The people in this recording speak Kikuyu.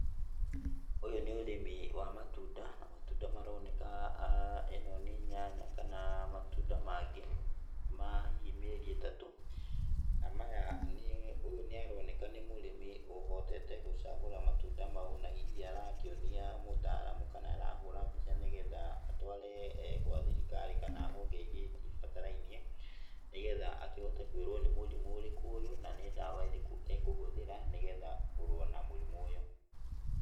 Ũyũ nĩ ũrĩmi wa matunda, na matunda maroneka ĩno nĩ nyanya kana matunda mangĩ ma hihi mĩerĩ ĩtatũ, na maya nĩ, ũyũ nĩ aroneka nĩ mũrĩmi ũhotete gũcagura matunda mau na hihi arakĩonia mũtaaramu kana arahũra mbica nĩgetha atware gwa thirikari kana honge ingĩ ibatarainie, nĩgetha akĩhote kũĩrwo nĩ mũrimũ ũrĩkũ ũyũ, na nĩ ndawa ĩrĩkũ ekũhũthĩra, nĩgetha kũrũa na mũrimũ ũyũ.